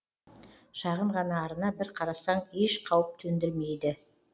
шағын ғана арна бір қарасаң еш қауіп төндірмейді